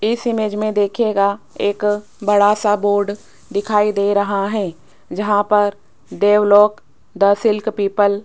इस इमेज में देखिएगा एक बड़ा सा बोर्ड दिखाई दे रहा है जहां पर देवलोक द सिल्क पीपल --